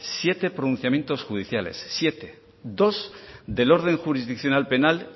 siete pronunciamientos judiciales dos del orden jurisdiccional penal